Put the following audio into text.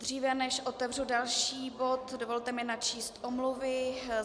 Dříve než otevřu další bod, dovolte mi načíst omluvy.